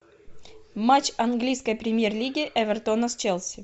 матч английской премьер лиги эвертона с челси